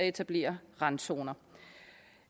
etablerer randzoner